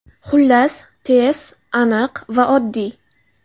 Xullas, tez, aniq va oddiy.